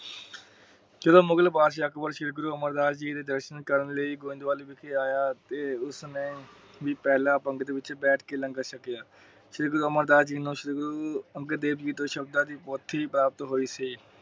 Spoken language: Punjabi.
ਸ਼੍ਰੀ ਗੁਰੂ ਅਮਰ ਦਾਸ ਜੀ ਦੇ ਦਰਸ਼ਨ ਕਰਨ ਗੋਬਿੰਦ ਬਲ ਆਇਆ ਤੇ ਉਸ ਨੇ ਪਹਿਲਾ ਪੰਗਤ ਵਿਚ ਬੈਠ ਕੇ ਪਹਿਲਾ ਲੰਗਰ ਛਕਿਆ। ਸ਼੍ਰੀ ਗੁਰੂ ਅਮਰ ਦਾਸ ਜੀ ਨੂੰ ਅੰਗਦ ਦੇਵ ਜੀ ਤੋਂ ਸ਼ਬਦਾਂ ਦੀ ਪੋਟਲੀ ਪ੍ਰਾਪਤ ਹੋਈ ਸੀ।